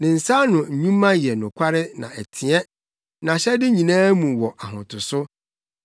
Ne nsa ano nnwuma yɛ nokware na ɛteɛ; nʼahyɛde nyinaa mu wɔ ahotoso.